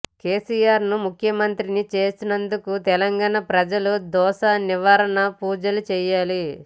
కేసీఆర్ను ముఖ్యమంత్రిని చేసినందుకు తెలంగాణ ప్రజలు దోష నివారణ పూజలు చేయాలి